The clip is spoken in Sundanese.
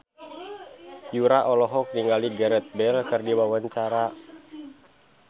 Yura olohok ningali Gareth Bale keur diwawancara